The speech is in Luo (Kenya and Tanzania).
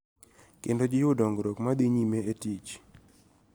Kendo jiwo dongruok ma dhi nyime e tich